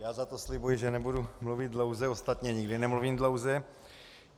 Já za to slibuji, že nebudu mluvit dlouze, ostatně nikdy nemluvím dlouze.